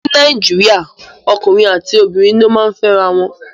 Ní Nàìjíríà ọkùnrin àti obìnrin ni ó máa ń fẹ́ra wọn.